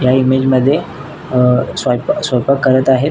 या इमेजअ मध्ये अ स्वयपा स्वयपाक करत आहेत.